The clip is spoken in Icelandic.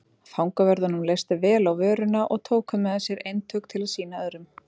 Fangavörðunum leist vel á vöruna og tóku með sér eintök til að sýna öðrum.